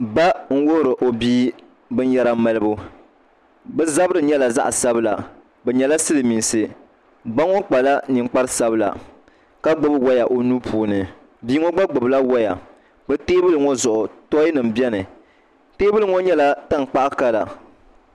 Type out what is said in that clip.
Ba n wuhuri o bia binyɛra malibu bi zabiri nyɛla zaɣ sabila bi nyɛla silmiinsi ba ŋo kpala ninkpari sabila ka gbubi woya o nuu puuni bia ŋo gna gbubila woya bi teebuli ŋo zuɣu tooy nim biɛni teebuli ŋo nyɛla tankpaɣu kala